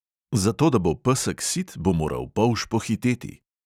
Zato, da bo pesek sit, bo moral polž pohiteti.